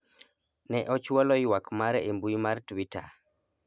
ne ochwalo ywak mare a mbui mar twita e